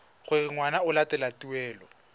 gore ngwana o latela taelo